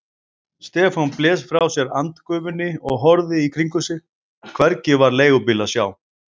Stefán blés frá sér andgufunni og horfði í kringum sig, hvergi var leigubíl að sjá.